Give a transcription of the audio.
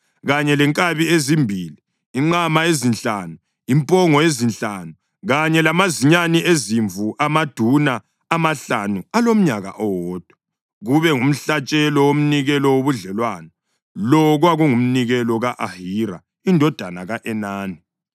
kanye lenkabi ezimbili, inqama ezinhlanu, impongo ezinhlanu kanye lamazinyane ezimvu amaduna amahlanu alomnyaka owodwa, kube ngumhlatshelo womnikelo wobudlelwano. Lo kwakungumnikelo ka-Ahira indodana ka-Enani.